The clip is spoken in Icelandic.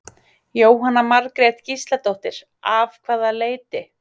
Jóhanna Margrét Gísladóttir: Af hvaða leyti?